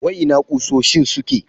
Wai ina kusoshin suke?